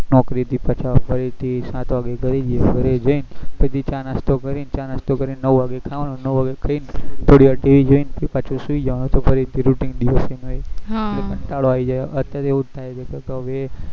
નોકરી થી પાછા સાત વાગે ઘરે જઈએ ઘરે જઈન ફરી ચા નાસ્તો કરી ન ચા નાસ્તો કરી ન નવ વાગે ખાઈ ન થોડી વાર TV જોઈન પાછુ સુઈ જવાનું પછી routine દિવસે એના એજ કંટારો આવી જાય હ અત્યારે તો એવું થાય છે કે હવે